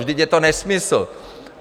Vždyť je to nesmysl.